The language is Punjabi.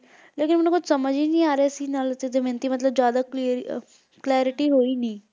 ਲੇਕਿਨ ਮੈਨੂੰ ਕੁਝ ਸਮਝ ਹੀ ਨਹੀਂ ਆ ਰਿਹਾ ਸੀ ਨਾਲ ਤੇ ਦਮਯੰਤੀ ਮਤਲਬ ਜਿਆਦਾ clear clarity ਹੋਈ ਨਹੀਂ